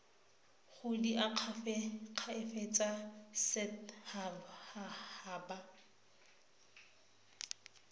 go diakhaefe tsa set haba